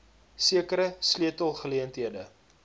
sekere sleutel geleenthede